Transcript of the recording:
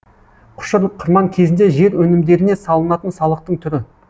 құшыр қырман кезінде жер өнімдеріне салынатын салықтың түрі